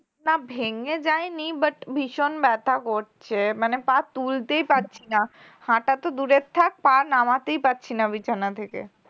না ভেঙে যায় নি but ভীষন ব্যাথা করছে মানে পা তুলতে পারছি না হাঁটা তো দূরে থাক নামাতেই পারছি না বিছানা থেকে